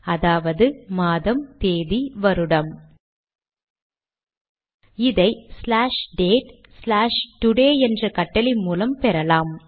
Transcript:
அதாவது மாதம் தேதி வருடம் இதை ஸ்லாஷ் டேட் ஸ்லாஷ் டோடே என்ற கட்டளை மூலம் பெறலாம்